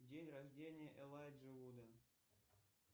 день рождения элайджа вуда